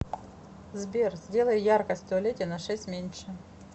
сбер сделай яркость в туалете на шесть меньше